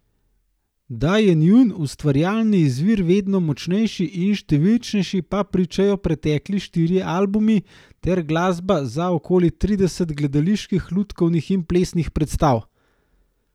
Da je njun ustvarjalni izvir vedno močnejši in številčnejši, pa pričajo pretekli štirje albumi ter glasba za okoli trideset gledaliških, lutkovnih in plesnih predstav.